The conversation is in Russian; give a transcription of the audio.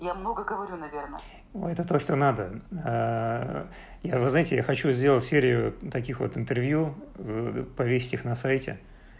я много говорю наверное это то что надо я вы знаете я хочу сделать серию таких вот интервью повесить их на сайте